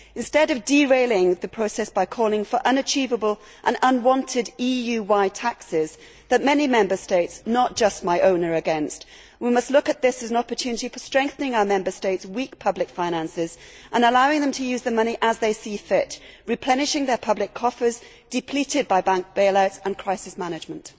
Instead of derailing the process by calling for unachievable and unwanted EU wide taxes that many Member States, not just my own, are against, we must look at this as an opportunity for strengthening our Members States' weak public finances and allowing them to use the money as they see fit, replenishing their public coffers depleted by bank bail outs and crisis management.